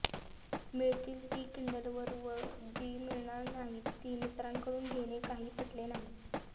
मिळतील ती किंडलवर व जी मिळणार नाही ती मित्राकडून घेणे काही पटले नाही